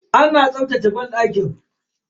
Ana tsaftace banɗaki.